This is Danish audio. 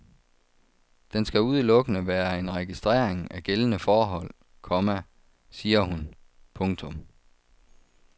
Den skal udelukkende være en registrering af gældende forhold, komma siger hun. punktum